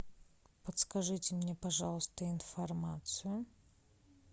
подскажите мне пожалуйста информацию